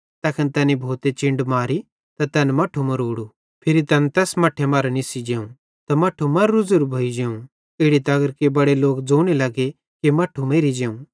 तैखन तैनी भूते चिन्डां मारी त तैन मट्ठू मरोड़ू फिरी तैन तैस मट्ठे मरां निस्सी जेव त मट्ठू मरू ज़ेरू भोइ ज़ोवं इड़ी तगर कि बड़े लोक ज़ोने लग्गे कि मट्ठू मेरि जोवं